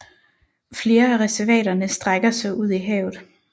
Flere af reservaterne strækker sig ud i havet